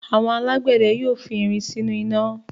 Àwọn alágbẹ̀dẹ yóò fi irin sínú iná.